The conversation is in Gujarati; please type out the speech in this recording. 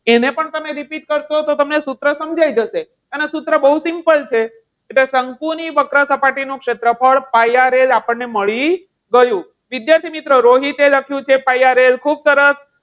એને પણ તમે repeat કરશો તો તમને સૂત્ર સમજાઈ જશે. અને સૂત્ર બહુ simple છે. એટલે શંકુની વક્ર સપાટીનું ક્ષેત્રફળ pi RL આપણને મળી ગયું. વિદ્યાર્થીમિત્રો રોહિતે લખ્યું છે પાય આર L ખુબ સરસ.